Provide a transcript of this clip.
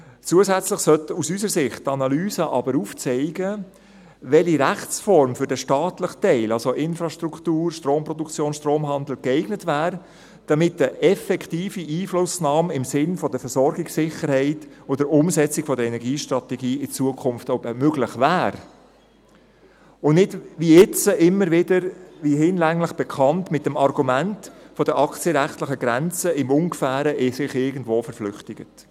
Zusätzlich sollte aus unserer Sicht die Analyse aber aufzeigen, welche Rechtsform für den staatlichen Teil – Infrastruktur, Stromproduktion, Stromhandel – geeignet wäre, damit eine effektive Einflussnahme im Sinn der Versorgungssicherheit und der Umsetzung der Energiestrategie in Zukunft möglich wäre, und man sich nicht, wie hinlänglich bekannt, immer wieder mit dem Argument der aktienrechtlichen Grenzen irgendwo im Ungefähren verflüchtigt.